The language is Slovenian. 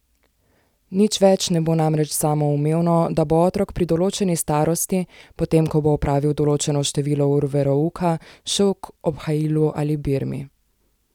Nič več ne bo namreč samoumevno, da bo otrok pri določeni starosti, potem ko bo opravil določeno število ur verouka, šel k obhajilu ali birmi.